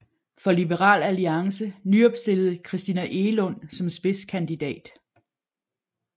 For Liberal Alliance nyopstillede Christina Egelund som spidskandidat